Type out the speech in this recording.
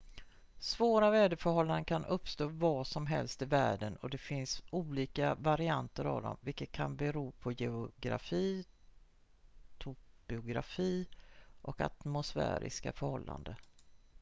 svåra väderförhållanden kan uppstå var som helst i världen och det finns olika varianter av dem vilket kan bero på geografi topografi och atmosfäriska förhållanden